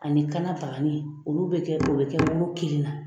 Ani kanna bagani olu bɛ kɛ o bɛ kɛ woro kelen na